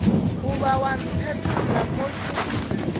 goba wa mpetolla mo ke